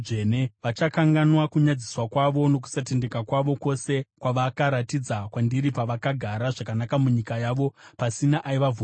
Vachakanganwa kunyadziswa kwavo nokusatendeka kwavo kwose kwavakaratidza kwandiri pavakagara zvakanaka munyika yavo pasina aivavhundusa.